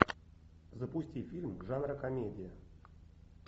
запусти фильм жанра комедия